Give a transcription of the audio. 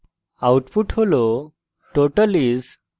output হল